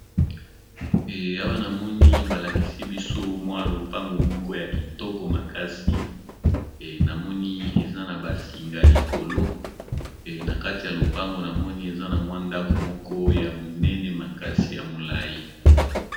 Awanamoni balakisi biso mwa lopango moko ya kitoko makasi namoni eza na basinga likolo na kati ya lopango na moni eza na mwa ndako moko ya monene makasi ya molai.